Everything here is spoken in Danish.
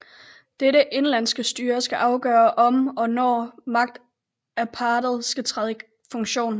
Dette indenlandske styre skal afgøre om og når magtapparatet skal træde i funktion